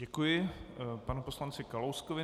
Děkuji panu poslanci Kalouskovi.